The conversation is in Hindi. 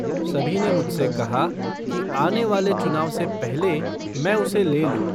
सभी ने मुझ से कहा कि आने वाले चुनाव से पहले मैं उसे ले लूँ।